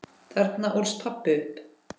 Þarna ólst pabbi upp.